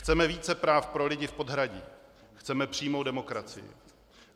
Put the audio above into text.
Chceme více práv pro lidi v podhradí, chceme přímou demokracii.